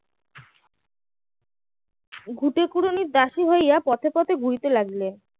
ঘুঁটেখুরুনির দাসী হইয়া পথে পথে ঘুরতে লাগলেন